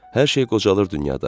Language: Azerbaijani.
Hər şey qocalır dünyada.